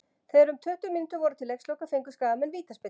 Þegar um tuttugu mínútur voru til leiksloka fengu Skagamenn vítaspyrnu.